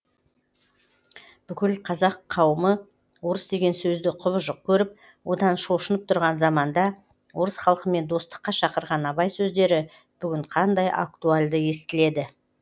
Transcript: бүкіл қазақ қауымы орыс деген сөзді кұбыжық көріп одан шошынып тұрған заманда орыс халкымен достыққа шақырған абай сөздері бүгін қандай актуальды естіледі